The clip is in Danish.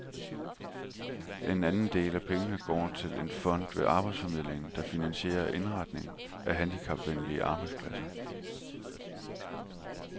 En anden del af pengene går til en fond ved arbejdsformidlingen, der finansierer indretning af handicapvenlige arbejdspladser.